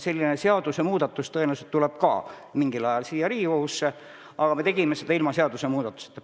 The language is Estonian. Selline seadusemuudatus tõenäoliselt tuleb ka mingil ajal siia Riigikogusse, aga me tegime seda ilma seadust muutmata.